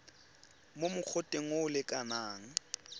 mo mogoteng o o lekanang